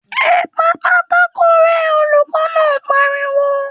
‘E̩ pa pátákó ré̩!’ olùkó̩ náà pariwo